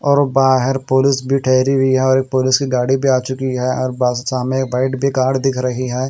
और बाहर पुलिस भी ठहरी हुई और पुलिस की गाड़ी भी आ चुकी है और सामने एक व्हाइट कार दिख रही है।